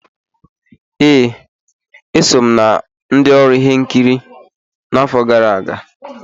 Ee, e so m na ndị ọrụ ihe nkiri n'afọ gara aga.